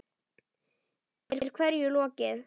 Er hverju lokið?